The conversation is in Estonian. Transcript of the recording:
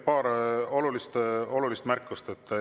Paar olulist märkust.